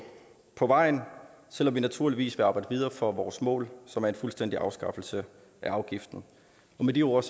på vejen selv om vi naturligvis vil arbejde videre for vores mål som er en fuldstændig afskaffelse af afgiften med de ord